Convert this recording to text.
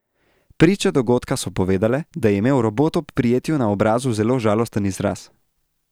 Priče dogodka so povedale, da je imel robot ob prijetju na obrazu zelo žalosten izraz.